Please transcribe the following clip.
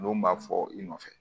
Don b'a fɔ i nɔfɛ